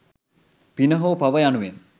පින හෝ පව යනුවෙන්